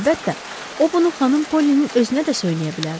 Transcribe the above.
Əlbəttə, o bunu xanım Polinin özünə də söyləyə bilərdi.